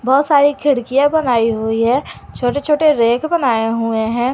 बहोत सारी खिड़कियां बनाई हुई है छोटे छोटे रैक बनाए हुए हैं।